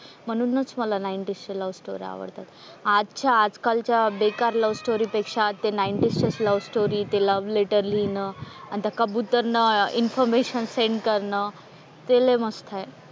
म्हणून च मला नाईंटीज च्या लव्हस्टोरी आवडतात, आजच्या आज आजकालच्या बेकार लव्हस्टोरी पेक्षा ते नाईंटीज चे लव्हस्टोरी ते लव्ह लेटर लिहीन आन त्या कबुतर ने इन्फॉर्मशन सेंड करणं ते लय मस्त आहे.